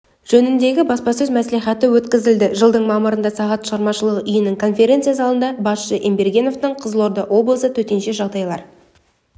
жөнінде баспасөз-мәслихаты өткізілді жылдың мамырында сағат шығармашылық үйінің конференция залында басшысы ембергеновтің қызылорда облысы төтенше жағдайлар